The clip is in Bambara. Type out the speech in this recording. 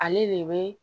Ale de bɛ